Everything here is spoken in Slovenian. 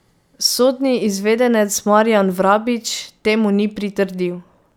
Sodni izvedenec Marjan Vrabič temu ni pritrdil.